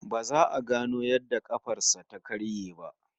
Ba za a gano yadda kafar sa ta karye ba